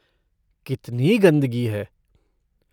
कितनी गंदगी है।